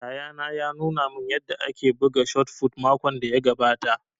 Yayana ya nuna man yanda ake buga shot fut makon da ya gabata